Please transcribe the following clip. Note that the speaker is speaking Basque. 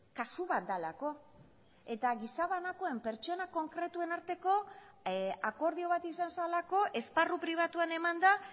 kasu bat delako eta gizabanakoen pertsona konkretuen arteko akordio bat izan zelako esparru pribatuan eman da